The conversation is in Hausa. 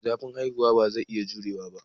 Zafin haihuwa ba zai iya jurewa ba.